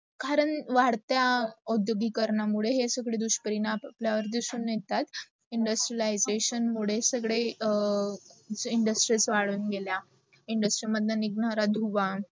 करण वाढतंय ओढगी कारणा मुडे थोड दुस परिणाम आपल्यावर दिसून येतो. industrilization मुढे, सगडे industries वडून गेल्या. industry मदले निगणारा धुवा